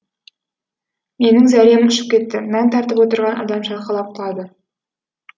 менің зәрем ұшып кетті нан тартып отырған адам шалқалап құлады